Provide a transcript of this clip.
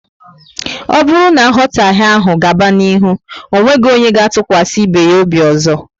O bụrụ na nghotahe áhù gaba n'ihu, onweghi onye ga tukwasi ibe ya obi ọzọ